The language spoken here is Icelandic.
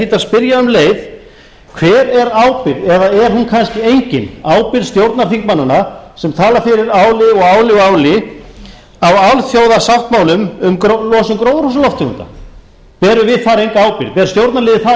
að spyrja um leið hver er ábyrgð eða er hún kannski engin ábyrgð stjórnarþingmannanna sem tala fyrir áli áli og áli á alþjóðasáttmálum um losun gróðurhúsalofttegunda berum við þar enga ábyrgð ber stjórnarliðið þar enga ábyrgð